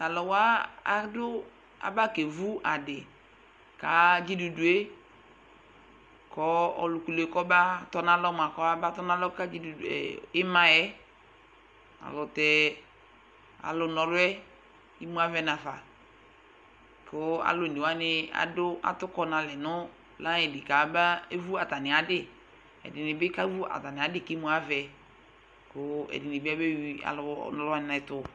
Tʋ alʋ wa adʋ abakewu adɩ ka dzidudu yɛ kʋ ɔlʋ kulu yɛ kɔbatɔnalɔ mʋa, kɔmaba tɔnalɔ ka dzidudu e ɩma yɛ Alʋtɛ alʋna ɔlʋ yɛ imu avɛ nafa kʋ alʋ one wanɩ adʋ atʋkɔ nalɛ nʋ layɩn li kamabewu atamɩ adɩ Ɛdɩnɩ bɩ kewu atamɩ adɩ kʋ imu avɛ kʋ ɛdɩnɩ bɩ abeyui alʋna ɔlʋ wanɩ ɛtʋ